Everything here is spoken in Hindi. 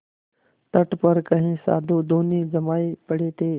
तट पर कई साधु धूनी जमाये पड़े थे